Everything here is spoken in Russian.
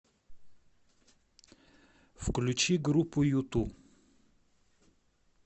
включи группу юту